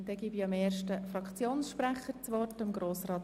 Nun gebe ich dem ersten Fraktionssprecher das Wort.